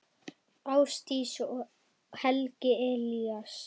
Ásdís og Helgi Elías.